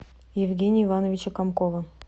евгения ивановича комкова